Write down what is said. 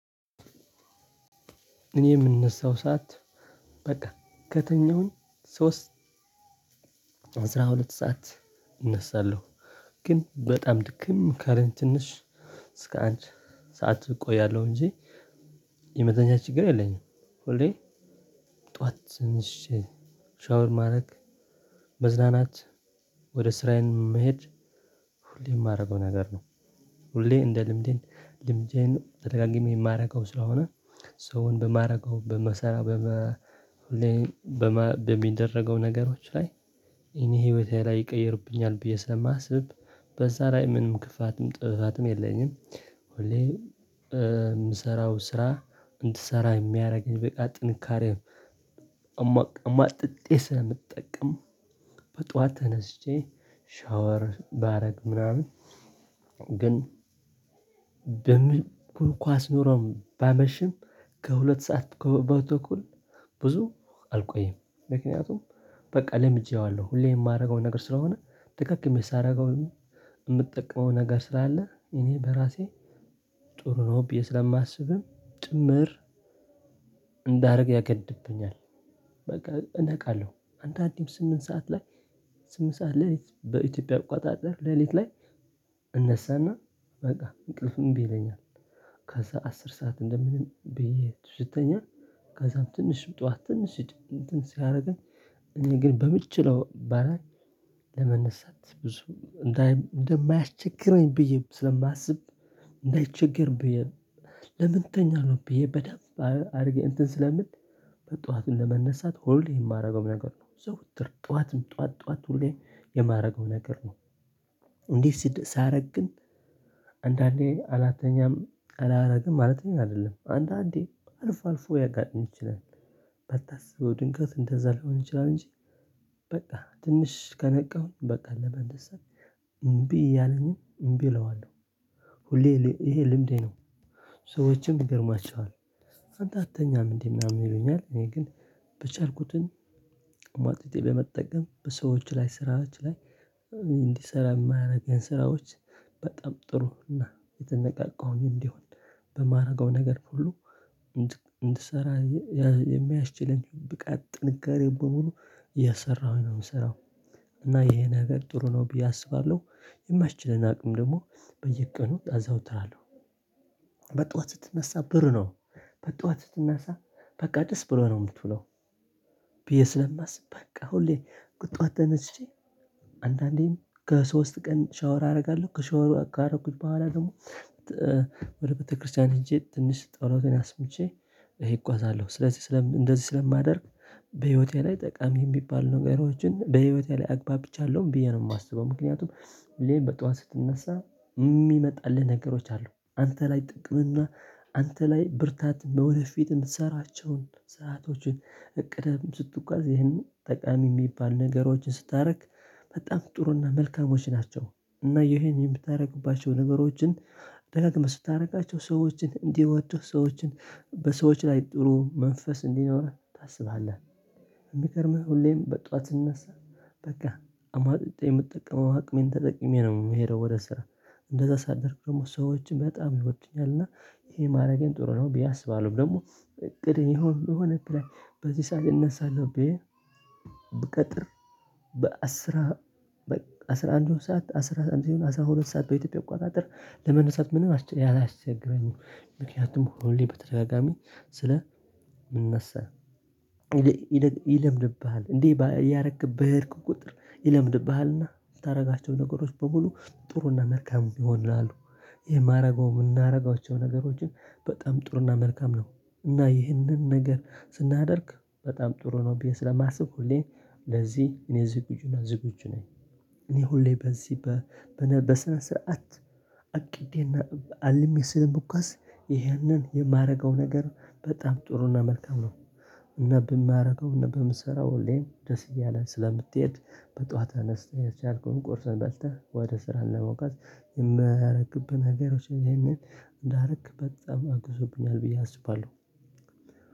እኔ የምነሳው ሰዓት በቃ ከተኛውን ሶስት አስራ ሁለት ሰዓት እነሳለሁ ግን በጣም ድክም አለኝ ትንሽ እስከ አንድ ሰዓት እቆያለሁ እንጂ የመተኛት ችግር የለኝም። ሁሌ ጠዋት ሽሽ ሻወር ማድረግ መዝናናት ወደ ስራዬን መሄድ ሁሌ የማደርገው ነገር ነው። ሁሌ እንደ ልምዴን ልምዴን ተደጋግሜ የማደርገው ስለሆነ ሰውን በማድረገው በመሰራት በመ በሚደረገው ነገሮች ላይ እኔ ህይወቴ ላይ ይቀይርብኛል ብዬ ስለማስብ በዛ ላይ ምንም ክፋትም ጥበቃትም የለኝም። ሁሌ የምሰራው ስራ እንድትሰራ የሚያደርገኝ በቃ ጥንካሬም አማጥጤ ስለምጠቀም በጧት ተነስቼ ሻወር ባረግ ምናምን ግን በሚል ኳስ ኖሮም ባመሽም ከሁለት ሰዓት ከበቶኩል ብዙ አልቆየም። ምክንያቱም በቃ ለምጄዋለሁ ሁሌ የማደርገው ነገር ስለሆነ ደጋግሜ ሳደርገው የምጠቀመው ነገር ስለ አለ እኔ በራሴ ጥሩ ነው ብዬ ስለማስብም ጭምር እንዳደርግ ያገድብኛል። በቃ እነቃለሁ አንተ አዲም ስምንት ሰዓት ላይ ስምንት ሰዓት ሌሊት በኢትዮጵያ ቁጣጥር ሌሊት ላይ እነሳና በቃ እንቅልፍም እምቢ ይለኛል። ከዛ አስር ሰዓት እንደምን ብዬ ስተኛ ከዛም ትንሽ ጠዋት ትንሽ ሲያደርግን እኔ ግን በምችለው ባ ለመነሳት ብዙ እንደማያስቸግረኝ ብዬ ስለማስብ እንዳይቸገር ብዬ ለምን ትተኛለህ ብዬ በደንብ አድርጌ እንትን ስለምል በጧት ለመነሳት ሁሌ የማደርገው ነገር ነው ዘውትር ጧትም ጧት ጧት ሁሌ የማደርገው ነገር ነው። ስድብ ሳደርግ ግን አንዳንዴ አልተኛም አላደርግም ማለት ነው አይደለም አንዳንዴ አልፎ አልፎ ሊያጋጥም ይችላል። ባታስበው ድንገት እንደዛ ሊሆን ይችላል እንጂ በቃ ትንሽ ከነቃሁኝ በቃ ለመደሰት እምቢ ያለኝን እምቢ እለዋለሁ ሁሌ ይሄ ልምዴ ነው። ሰዎችን ይገርማቸዋል አንዳተኛም እንዴ ምናምን ይሉኛል። እኔ ግን በቻልኩት ሟጥጬ በመጠቀም በሰዎች ላይ ስራዎች ላይ እንዲሰራ የማያደርገን ስራዎች በጣም ጥሩ እና የተነቃቃሁኝ እንዲሆን በማድረገው ነገር ሁሉ እንድሰራ የሚያስችለኝ ብቃት ጥንካሬ በሙሉ የሰራሁኝ ነው የምሰራው እና ይሄ ነገር ጥሩ ነው ብዬ አስባለሁ። የማስችለን አቅም ደግሞ በየቀኑ ጣዛው ትላለሁ በጧት ስትነሳ ብር ነው በጧት ስትነሳ በቃ ደስ ብሎ ነው የምትውለው። ብዬ ስለማስብ በቃ ሁሌ በጧት ተነስቼ አንዳንዴም ከሶስት ቀን ሻወር አደርጋለሁ ከሻወር ካደረኩት በኋላ ደግሞ ወደ ቤተክርስቲያን ሄጄ ትንሽ ጠሎትን አስምቼ እጓዛለሁ ስለዚህ ስለም እንደዚህ ስለማደርግ በህይወቴ ላይ ጠቃሚ ሚባል ነገሮችን በህይወቴ ላይ አግባብቻለሁ ብዬ ነው የማስበው። ምክንያቱም ሌላ በጧት ስትነሳ የሚመጣልህ ነገሮች አሉ አንተ ላይ ጥቅም እና አንተ ላይ ብርታት በወደፊት የምትሰራቸውን ሰአቶችን እቅድም ስትጓዝ ይህንን ጠቃሚ የሚባል ነገሮችን ስታደርግ በጣም ጥሩና መልካሞች ናቸው። እና ይሄን የምታደርግባቸው ነገሮችን ደጋግመህ ስታደርጋቸው ሰዎችን እንዲወዱህ ሰዎችን በሰዎች ላይ ጥሩ መንፈስ እንዲኖረን ታስባለህ። የሚገርምህ ሁሌም በጧት ስንነሳ በቃ አማጥጤ የምትጠቀመው አቅሜን ተጠቂሜ ነው የምሄደው ወደ ስራ እንደዛ ሳደርኩ ደግሞ ሰዎችን በጣም ይወዱኛል እና ይሄ ማድረጌን ጥሩ ነው። ቢያስባለውም ደግሞ እቅድ የሆነ በሆነ ግራ በዚህ ሰዓት የነሳለብኝ ብቀጥር በአስራ አስራ አንድ ሰዓት አስራ አንድ ሲሆን ይሁን አስራ ሁለት ሰዓት በኢትዮጵያ እቆጣጠር ለመነሳት ምንም አላስቸገረኝም። ምክንያቱም ሆኖልኝ በተደጋጋሚ ስለ ምንነሳ ይለምድብሃል እንዴ ያረክብህ የሄድክ ቁጥር ይለምድብሃልና የምታደርጋቸው ነገሮች በሙሉ ጥሩና መልካም ይሆናሉ። ይሄ የማደርገው የምናደርገው ነገሮችን በጣም ጥሩና መልካም ነው። እና ይህንን ነገር ስናደርግ በጣም ጥሩ ነው ብዬ ስለማስብ ሁሌ ለዚህ እኔ ዝግጁና ዝግጁ ነኝ። እኔ ሁሌ በዚህ በስነስረአት አቅዴና አለም ስለምጓዝ ይህንን የማረጋው ነገር በጣም ጥሩና መልካም ነው። እና በማረገውን እና ብምሰራው ሁሌም ደስ እያለን ስለምትሄድ በጧት አነስተህ የቻልከውን ቁርስ በልተህ ወደ ስራ ለመሞከር የምታደርግብህ ነገሮች ይሄንን እንዳደረክበት በጣም አግዞብኛል ብዬ አስባለሁ።